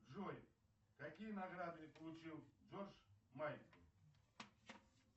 джой какие награды получил джордж майкл